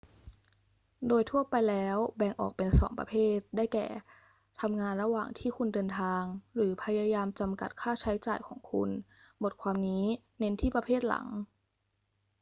โดยทั่วไปแล้วแบ่งออกเป็น 2 ประเภท ได้แก่ ทำงานระหว่างที่คุณเดินทาง หรือพยายามจำกัดค่าใช้จ่ายของคุณ บทความนี้เน้นที่ประเภทหลัง